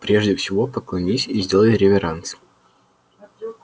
прежде всего поклонись и сделай реверанс